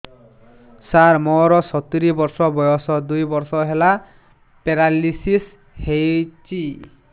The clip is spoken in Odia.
ସାର ମୋର ସତୂରୀ ବର୍ଷ ବୟସ ଦୁଇ ବର୍ଷ ହେଲା ପେରାଲିଶିଶ ହେଇଚି